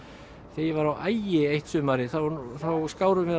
þegar ég var á Ægi eitt sumarið þá skárum við á